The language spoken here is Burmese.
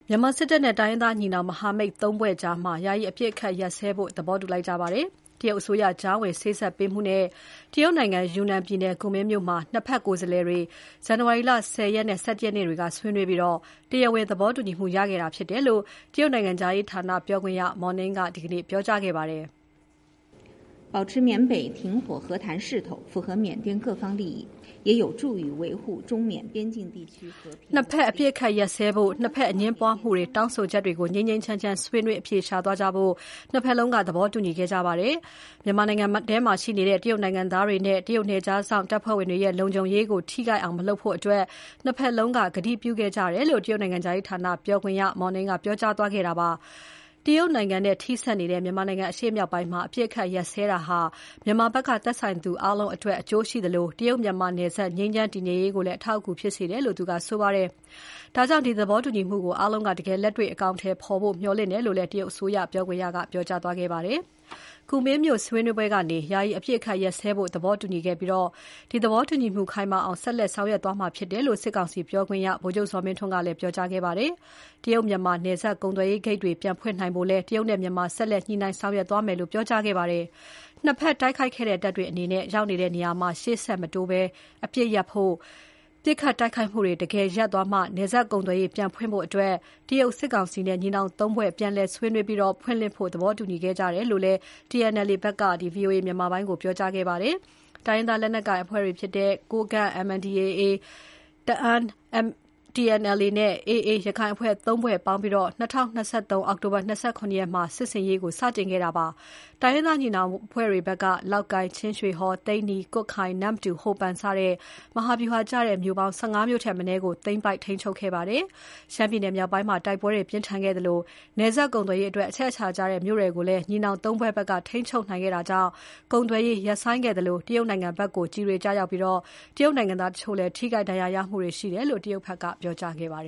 မြန်မာစစ်တပ်နဲ့ တိုင်းရင်းသားညီနောင် မဟာမိတ် ၃ ဖွဲ့ကြား ယာယီအပစ်အခတ်ရပ်စဲဖို့ သဘောတူလိုက်ကြပါတယ်။ တရုတ်အစိုးရ ကြားဝင်စေ့စပ်ပေးမှုနဲ့ တရုတ်နိုင်ငံ ယူနန်ပြည်နယ် ကူမင်းမြို့မှာ ၂ ဘက် ကိုယ်စားလှယ်တွေ ဇန်နဝါရီလ ၁၀ ရက်နဲ့ ၁၁ ရက်နေ့က ဆွေးနွေးပြီး တရားဝင် သဘောတူညီမှုရခဲ့တာဖြစ်တယ်လို့ တရုတ်နိုင်ငံခြားရေးဌာန ပြောခွင့်ရ Mao Ning ကပြောကြားခဲ့ပါတယ်။ "ချက်ချင်း အပစ်အခတ်ရပ်စဲဖို့၊ ၂ ဘက် အငြင်းပွားမှုတွေ၊ တောင်းဆိုချက်တွေကို ငြိမ်းငြိမ်းချမ်းချမ်း ဆွေးနွေးအဖြေရှာသွားကြဖို့ ၂ ဘက်လုံးက သဘောတူညီခဲ့ကြပါတယ်။ မြန်မာနိုင်ငံထဲမှာရှိနေတဲ့ တရုတ်နိုင်ငံသားတွေနဲ့ တရုတ်နယ်ခြားစောင့်တပ်ဖွဲ့ဝင်တွေရဲ့ လုံခြုံရေးကို ထိခိုက်အောင် မလုပ်ဖို့ ၂ ဘက်လုံးက ကတိပြုခဲ့ကြတယ်" လို့ တရုတ်နိုင်ငံခြားရေးဌာန ပြောခွင့်ရ Mao Ning ကပြောကြားခဲ့တာဖြစ်ပါတယ်။ တရုတ်နိုင်ငံနဲ့ ထိဆက်နေတဲ့ မြန်မာနိုင်ငံ အရှေ့မြောက်ပိုင်းမှာ အပစ်အခတ်ရပ်စဲတာဟာ မြန်မာနိုင်ငံဘက်က သက်ဆိုင်သူအားလုံးအတွက် အကျိုးရှိသလို တရုတ် မြန်မာနယ်စပ် ငြိမ်းချမ်း တည်ငြိမ်ရေးကိုလည်း အထောက်အကူဖြစ်တယ်လို့ ဆိုပါတယ်။ ဒါကြောင့် ဒီသဘောတူညီမှုကို အားလုံးက တကယ်လက်တွေ့ အကောင်အထည်ဖော်ဖို့ မျှော်လင့်တယ်လို့လည်း တရုတ်အစိုးရ ပြောခွင့်ရက ပြောကြားခဲ့ပါတယ်။ ကူမင်းမြို့ဆွေးနွေးပွဲကနေ ယာယီအပစ်အခတ်ရပ်ဖို့ သဘောတူညီခဲ့ပြီး ဒီသဘောတူညီမှု ခိုင်မာအောင် ဆက်လက်ဆောင်ရွက်သွားမှာဖြစ်တယ်လို့ စစ်ကောင်စီပြောခွင့်ရ ဗိုလ်ချုပ်ဇော်မင်းထွန်းက ပြောကြားခဲ့ပါတယ်။ တရုတ် မြန်မာ နယ်စပ် ကုန်သွယ်ရေးဂိတ်တွေ ပြန်ဖွင့်နိုင်ဖို့လည်း တရုတ်နဲ့ မြန်မာ ဆက်လက်ညှိနှိုင်းဆောင်ရွက်သွားမယ်လို့ ပြောကြားခဲ့ပါတယ်။ ၂ ဘက်တိုက်ခိုက်နေတဲ့ တပ်တွေအနေနဲ့ ရောက်နေတဲ့ နေရာမှာ ရှေ့ဆက်မတိုးဘဲ အပစ်ရပ်ဖို့၊ ပစ်ခတ်တိုက်ခိုက်မှုတွေ တကယ်ရပ်သွားမှ နယ်စပ်ကုန်သွယ်ရေး ပြန်ဖွင့်ဖို့အတွက် တရုတ်၊ စစ်ကောင်စီနဲ့ ညီနောင် ၃ ဖွဲ့ ပြန်လည်ဆွေးနွေးပြီး ပြန်ဖွင့်ဖို့ သဘောတူညီခဲ့ကြတယ်လို့ TNLA ဘက်က VOA မြန်မာပိုင်းကို ပြောပါတယ်။ တိုင်းရင်းသားလက်နက်ကိုင်အဖွဲ့တွေဖြစ်တဲ့ ကိုးကန့်၊ တအာင်းနဲ့ ရက္ခိုင်အဖွဲ့ ၃ ဖွဲ့ပေါင်းပြီး ၂၀၂၃ အောက်တို ၂၇ ရက်နေ့မှာ စစ်ဆင်ရေးကို စတင်ခဲ့တာပါ။ တိုင်းရင်းသားညီနောင်အဖွဲ့တွေဘက်က လောက်ကိုင်၊ ချင်းရွှေဟော်၊ သိန္နီ၊ ကွတ်ခိုင်၊ နမ့်တူ၊ ဟိုပန် စတဲ့ မဟာဗျူဟာကျတဲ့ မြို့ပေါင်း ၁၅ မြို့ထက် မနည်းကို သိမ်းပိုက် ထိန်းချုပ်ခဲ့ပါတယ်။ ရှမ်းပြည်မြောက်ပိုင်းမှာ တိုက်ပွဲတွေ ပြင်းထန်ခဲ့သလို နယ်စပ်ကုန်သွယ်ရေးအတွက်အချက်အချာကျတဲ့ မြို့တွေကို ညီနောင် ၃ ဖွဲ့ဘက်က ထိန်းချုပ်နိုင်ခဲ့တာကြောင့် ကုန်သွယ်ရေး ရပ်ဆိုင်းခဲ့သလို၊ တရုတ်နိုင်ငံဘက်ကို ကျည်တွေကျရောက်ပြီး တရုတ်နိုင်ငံသားတချို့လည်းထိခိုက် ဒဏ်ရာမှုတွေရှိတယ်လို့ တရုတ်ဘက်က ပြောကြားခဲ့ပါ